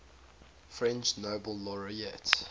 french nobel laureates